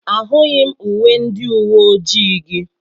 Ahụghị m uwe ndị uwe ojii gị.